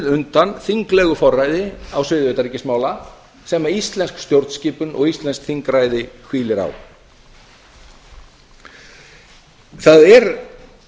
undan þinglegu forræði á sviði utanríkismála sem íslensk stjórnskipun og íslenskt þingræði hvílir á það er